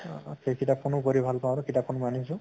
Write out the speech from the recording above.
অহ সেই কিতাপ খনো পঢ়ি ভাল পাওঁ আৰু কিতাপ খন মই আনিছো